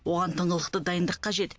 оған тыңғылықты дайындық қажет